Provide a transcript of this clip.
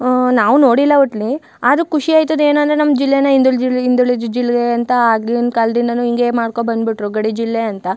ಹ ನಾವು ನೋಡಿಲ್ಲ ಒಟ್ಟಲ್ಲಿ ಆದ್ರೂ ಖುಷಿ ಆಯ್ತದೆ ಏನಂದ್ರೆ ನಮ್ಮ ಜಿಲ್ಲೆನ ಹಿಂದುಳಿದ ಜಿಲ್ಲೆ ಹಿಂದುಳಿದ ಜಿಲ್ಲೆ ಅಂತ ಆಗಿನ ಕಾಲದಿಂದಾನು ಹಿಂಗೇ ಮಾಡ್ಕೊಂಡು ಬಂದ್ ಬಿಟ್ರು ಗಡಿ ಜಿಲ್ಲೆ ಅಂತ.